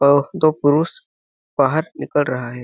और दो पुरुष बाहर निकल रहा हैं ।